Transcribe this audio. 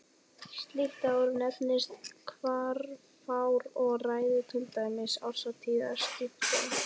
Slíkt ár nefnist hvarfár og ræður til dæmis árstíðaskiptum.